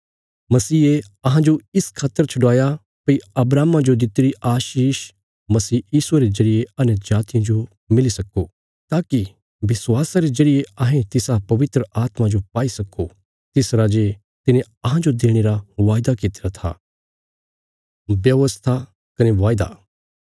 मसीहे अहांजो इस खातर छडवाया भई अब्राहमा जो दित्तिरी आशीष मसीह यीशुये रे जरिये अन्यजातियां जो मिली सक्को ताकि विश्वास करने रे जरिये अहें तिस पवित्र आत्मा जो पाई सक्को तिसरा जे तिने अहांजो देणे रा वायदा कित्तिरा था